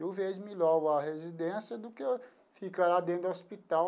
Mil vezes melhor a residência do que ficar lá dentro do hospital.